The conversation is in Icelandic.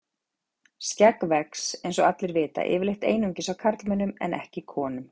Skegg vex, eins og allir vita, yfirleitt einungis á karlmönnum en ekki konum.